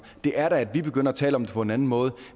det er da at vi begynder at tale om det på en anden måde